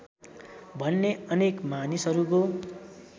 भन्ने अनेक मानिसहरूको